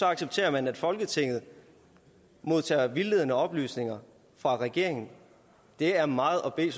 accepterer man at folketinget modtager vildledende oplysninger fra regeringen det er meget at bede